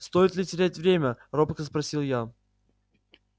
стоит ли терять время робко спросил я